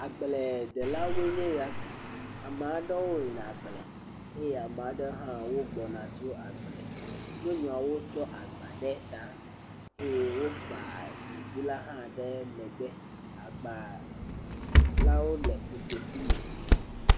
Agbledela aɖewo woe nye ya. Ame aɖewo yin a ɖe agble eye ame aɖewo hã wogbɔ na tso agble. Wotsɔ agba ɖe ta eye ame aɖewo kpa ɖevi la ɖe megbe.